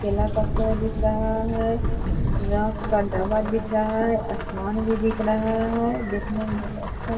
केला का पेड़ दिख रहा है ट्रक का डब्बा दिख रहा है आसमान भी दिख रहा है दिखने मे अच्छा --